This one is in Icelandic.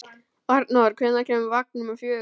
Arnór, hvenær kemur vagn númer fjögur?